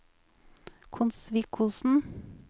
Konsvikosen